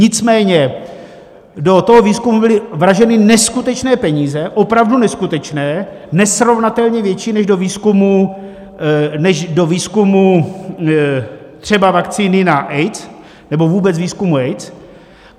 Nicméně do toho výzkumu byly vraženy neskutečné peníze, opravdu neskutečné, nesrovnatelně větší než do výzkumu třeba vakcíny na AIDS, nebo vůbec výzkumu AIDS.